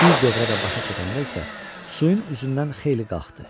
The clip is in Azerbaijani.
Bir dövrə də başa çatanda isə suyun üzündən xeyli qalxdı.